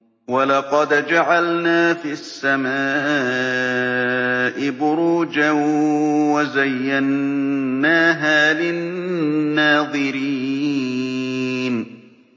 وَلَقَدْ جَعَلْنَا فِي السَّمَاءِ بُرُوجًا وَزَيَّنَّاهَا لِلنَّاظِرِينَ